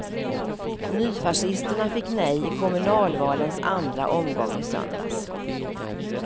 Nyfascisterna fick nej i kommunalvalens andra omgång i söndags.